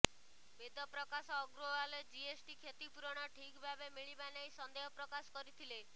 Vedprakash Agrawal GST କ୍ଷତିପୂରଣ ଠିକ୍ ଭାବେ ମିଳିବା ନେଇ ସନ୍ଦେହ ପ୍ରକାଶ କରିଥିଲେ